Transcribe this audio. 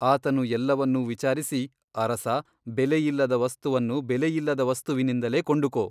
ಅತನು ಎಲ್ಲವನ್ನೂ ವಿಚಾರಿಸಿ ಅರಸ ಬೆಲೆಯಿಲ್ಲದ ವಸ್ತುವನ್ನು ಬೆಲೆಯಿಲ್ಲದ ವಸ್ತುವಿನಿಂದಲೇ ಕೊಂಡುಕೋ.